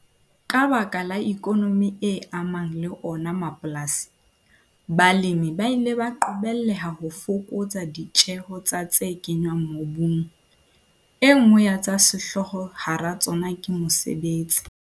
Ka baka la ikonomi e amang le ona mapolasi, balemi ba ile ba qobelleha ho fokotsa ditjeho tsa tse kenngwang mobung. E nngwe ya tsa sehlooho hara tsona ke mosebetsi.